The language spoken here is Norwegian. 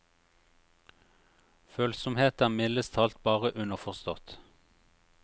Følsomhet er mildest talt bare underforstått.